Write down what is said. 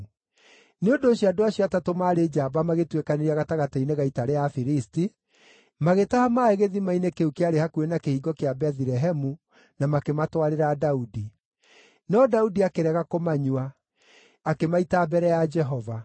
Nĩ ũndũ ũcio andũ acio atatũ maarĩ njamba magĩtuĩkanĩria gatagatĩ-inĩ ga ita rĩa Afilisti, magĩtaha maaĩ gĩthima-inĩ kĩu kĩarĩ hakuhĩ na kĩhingo kĩa Bethilehemu na makĩmatwarĩra Daudi. No Daudi akĩrega kũmanyua; akĩmaita mbere ya Jehova.